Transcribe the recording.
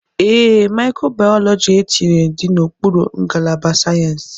Ee, Micro biology etinyere dị n'okpuru ngalaba sayensị.